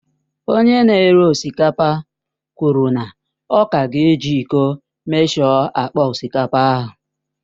Onye na-ere osikapa kwụrụ na ọ ka ga eji ịko emeshọ akpa osikapa ahụ